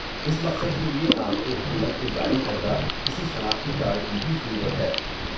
اس مقصد کے لیے آپ کو حکومت کے جاری کردہ کسی شناختی کارڈ کی بھی ضرورت ہے۔